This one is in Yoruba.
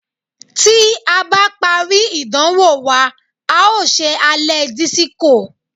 Tí a bá parí ìdánwò wa, a ó ṣe alẹ́ dísíkó.